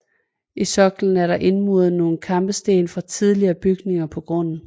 I soklen er der indmuret nogle kampesten fra tidligere bygninger på grunden